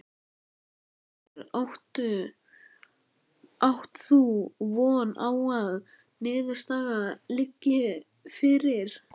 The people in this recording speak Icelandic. Hvenær átt þú von á að niðurstaða liggi fyrir?